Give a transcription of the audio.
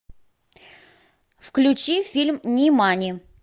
включи фильм нимани